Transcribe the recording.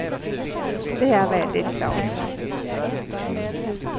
Det är jag väldigt glad för.